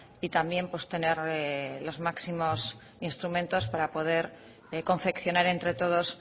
y también pues tener los máximos instrumentos para poder confeccionar entre todos